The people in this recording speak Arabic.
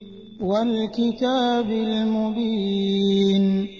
وَالْكِتَابِ الْمُبِينِ